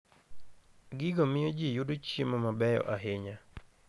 Gigo miyo ji yudo chiemo mabeyo ahinya.